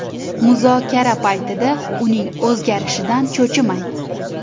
Muzokara paytida uning o‘zgarishidan cho‘chimang.